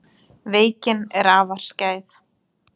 Veikin er afar skæð.